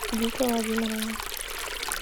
вите владимировне